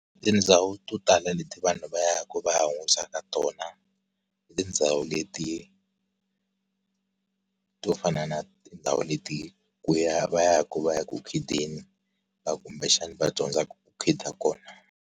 Tindhawu to tala leti vanhu va ya ku va ya ka tona i tindhawu leti to fana na tindhawu leti, ku ya va ya ku va ya ku khideni kumbexana va dyondzaka ku khida kona.